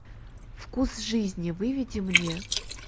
вкус жизни выведи мне